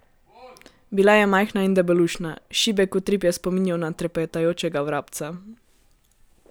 Bila je majhna in debelušna, šibek utrip je spominjal na trepetajočega vrabca.